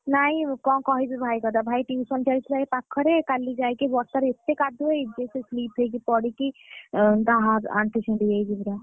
ନାଇଁ କଣ କହିବି ଭାଇ କଥା ଭାଇ tuition ଯାଇଥିଲାଏଇ ପାଖରେ କାଲି ଯାଇକି ବର୍ଷା ରେ ଏତେ କାଦୁଅ ହେଇଛି ଯେ ସେ slip ହେଇକି ପଡିକି ଆଁ ତା ହା ଆଣ୍ଠୁ ଖଣ୍ଡିଆ ହେଇଯାଇଛି ପୁରା,